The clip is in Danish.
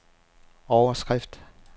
overskrift